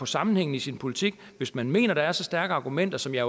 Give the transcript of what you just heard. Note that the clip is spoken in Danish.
sammenhængen i sin politik hvis man mener der er så stærke argumenter som jeg